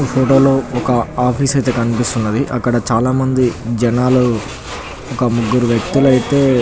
ఈ ఫోటో లో ఓక ఆఫీసు అయితే కనిపిస్తున్నది. అక్కడ చాలా మంది జనాలు ఒక ముగ్గురు వ్యక్తులు అయితే --